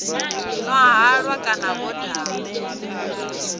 nwa halwa kana vho daha